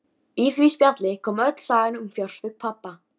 Í því spjalli kom öll sagan um fjársvik pabba.